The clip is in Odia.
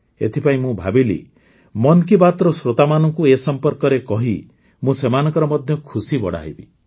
ଏଥିପାଇଁ ମୁଁ ଭାବିଲି ମନ୍ କୀ ବାତ୍ର ଶ୍ରୋତାମାନଙ୍କୁ ଏ ସମ୍ପର୍କରେ କହି ମୁଁ ସେମାନଙ୍କର ମଧ୍ୟ ଖୁସି ବଢ଼ାଇବି